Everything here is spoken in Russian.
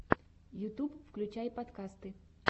ютьюб включай подкасты